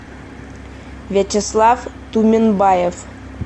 вячеслав туменбаев